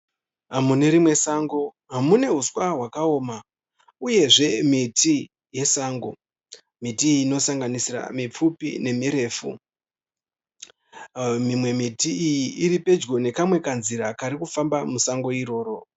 Mune rimwe sango mune huswa hwakaoma uyezve miti yesango. Miti iyi inosanganisira mipfupi nemirefu. Mimwe miti iyi iri pedyo nekanzira kari kufamba musango iroro.